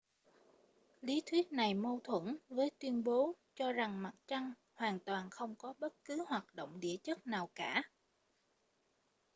lý thuyết này mâu thuẫn với tuyên bố cho rằng mặt trăng hoàn toàn không có bất cứ hoạt động địa chất nào cả